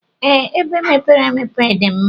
Ee, ebe mepere emepe dim mma.